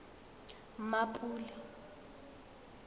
mmapule